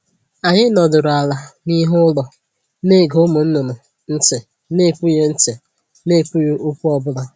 Anyị nọdịrị ala n'ihu ụlọ, na ege ụmụ nnụnụ ntị na ekwughị ntị na ekwughị okwu ọ bụla